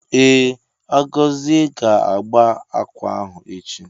Ee, Agozie ga agba akwa ahu echi.